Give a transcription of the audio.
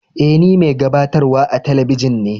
E, ni mai gabatarwa a teleibijin ne.